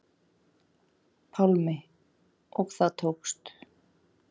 Pálmi: Og það tókst?